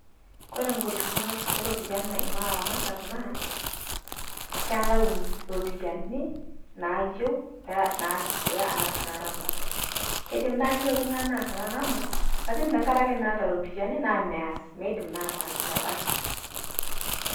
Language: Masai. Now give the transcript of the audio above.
Kore golikinot e ropiani naimaa laramatak naa keelau ropiani naiyou neesishore ana ramaat. Keidiim naa eiyeu ltung'ani naas laramat lakini tang'araki meeta ropiani naa meeas meidiim naa ataasa meebaki.